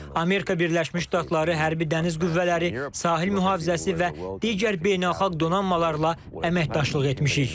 Amerika Birləşmiş Ştatları Hərbi Dəniz Qüvvələri, Sahil Mühafizəsi və digər beynəlxalq donanmalarla əməkdaşlıq etmişik.